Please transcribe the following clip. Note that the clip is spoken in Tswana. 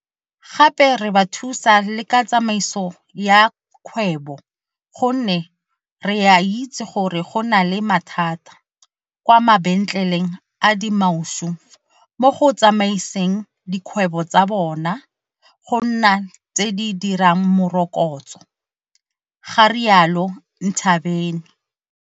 Gape re ba thusa le ka tsamaiso ya kgwebo gonne re a itse gore go na le mathata kwa mabentleleng a dimaushu mo go tsamaiseng dikgwebo tsa bona go nna tse di dirang morokotso, ga rialo Ntshavheni.